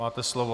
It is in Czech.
Máte slovo.